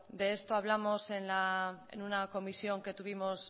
de esto hablamos en una comisión que tuvimos